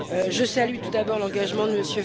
Je salue tout d'abord l'engagement de M.